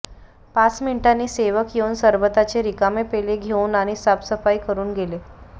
पाच मिनिटांनी सेवक येऊन सरबताचे रिकामे पेले घेऊन आणि साफसफाई करून गेले